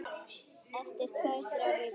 Eftir tvær, þrjár vikur.